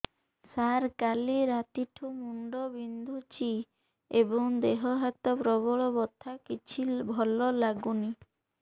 ସାର କାଲି ରାତିଠୁ ମୁଣ୍ଡ ବିନ୍ଧୁଛି ଏବଂ ଦେହ ହାତ ପ୍ରବଳ ବଥା କିଛି ଭଲ ଲାଗୁନି